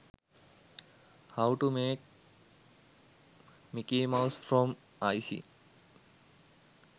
how to make Mickey mouse from icing